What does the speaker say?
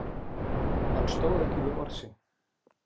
Hann stóð ekki við orð sín.